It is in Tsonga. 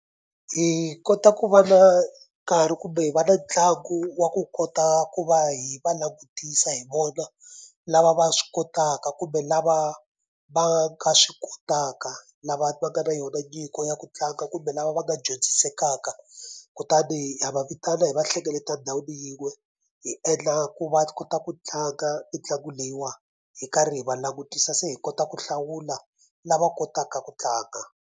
Hi kota ku va na nkarhi kumbe hi va na ntlangu wa ku kota ku va hi va langutisa hi vona lava va swi kotaka kumbe lava va nga swi kotaka lava va nga na yona nyiko ya ku tlanga kumbe lava va nga dyondzisekaka kutani ha va vitana hi va hlengeleta ndhawini yin'we hi endla ku va kota ku tlanga mitlangu leyiwa hi karhi hi va langutisa se hi kota ku hlawula lava kotaka ku tlanga.